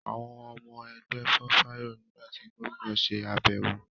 àwọn ọmọ ẹgbẹ́ fòfáyọ̀ nígbà tí Gómìnà se àbẹ̀wọ̀.